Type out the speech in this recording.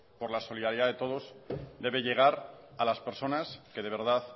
por la solidaridad de todos debe llegar a las personas que de verdad